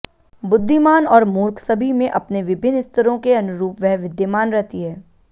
बुद्धिमान और मूर्ख सभी में अपने विभिन्न स्तरों के अनुरूप वह विद्यमान रहती है